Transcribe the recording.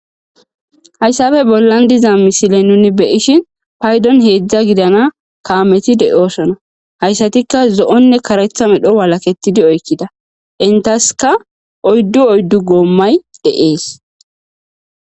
Hayssafe bollan diza misile nuni beyishin paydon heedzdza gidana kaameti de7osona hayssatikka zo7onne karetha midho walaketidi oykkida entaska oyddu oyddu goommay de,ees.